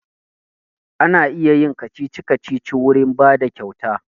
Ana iya yin kacici-kacici wurin bada kyauta